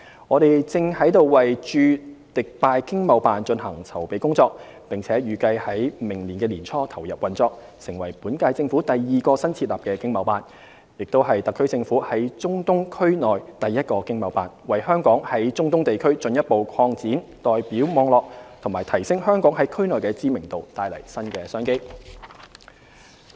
我們正為駐迪拜經貿辦進行籌備工作，並預計將於明年年初投入運作，成為本屆政府第二個新設立的經貿辦，亦是特區政府在中東區內第一個經貿辦，為香港在中東地區進一步擴展代表網絡和提升香港在區內的知名度，帶來新的商機。